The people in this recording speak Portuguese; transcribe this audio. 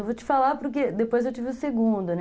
Eu vou te falar porque depois eu tive o segundo, né?